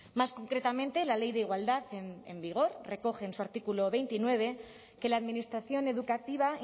más concretamente la ley de igualdad en vigor recoge en su artículo veintinueve que la administración educativa